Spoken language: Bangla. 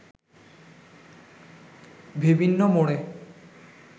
বিভিন্ন মোড়ে